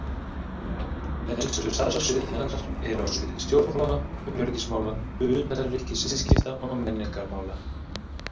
Helstu starfssvið hennar eru á sviði stjórnmála, öryggismála, utanríkisviðskipta og menningarmála.